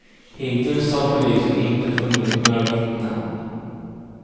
Hittills har polisen inte funnit några vittnen.